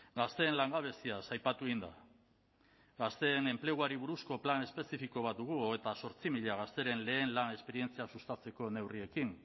gazteen langabeziaz aipatu egin da gazteen enpleguari buruzko plan espezifiko bat dugu hogeita zortzi mila gazteren lehen lan esperientzia sustatzeko neurriekin